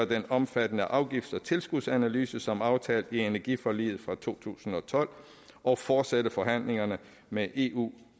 den omfattende afgifts og tilskudsanalyse som aftalt i energiforliget fra to tusind og tolv og fortsætte forhandlingerne med eu